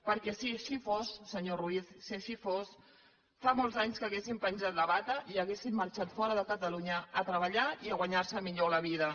perquè si així fos senyor ruiz si així fos fa molts anys que haurien penjat la bata i haurien marxat fora de catalunya a treballar i a guanyar se millor la vida